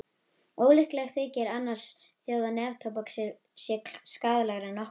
Ólíklegt þykir að annarra þjóða neftóbak sé skaðlegra en okkar.